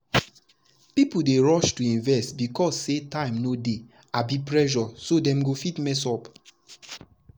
people dey rush to invest because say time no dey abi pressure so dem go fit mess up.